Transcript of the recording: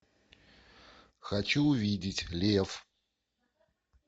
хочу увидеть лев